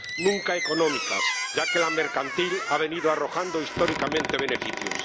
nunca económicas, ya que la mercantil ha venido arrojando históricamente beneficios.